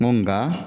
nka